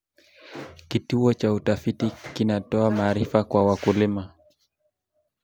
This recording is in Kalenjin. Kituo cha utafiti kinatoa maarifa kwa wakulima.